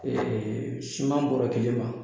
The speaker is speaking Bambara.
Ee suman bɔra kile man.